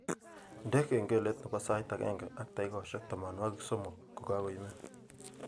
Indene kengelet nebo sait agenge ak takikaishek tamanwogik somok ngokaimen